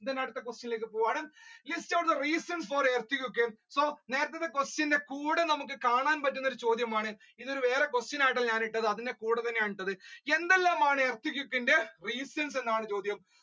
അടുത്ത question ലോട്ട് പോകാണ് list out the reasons for earthquake so നേരത്തത്തെ quistion ന്റെ കൂടെ നമ്മക്ക് കാണാൻ പറ്റുന്ന ഒരു ചോദ്യമാണ് ഇതൊരു വേറെ question ആയിട്ടാണ് ട്ടോ ഞാൻ ഇട്ടിട്ടുള്ളത്അതിന്റെ കൂടെ തന്നെ ആണ് ട്ടോ ഇത് എന്തെല്ലാമാണ് earthquake ന്റെ reasons എന്നാണ് ചോദ്യം.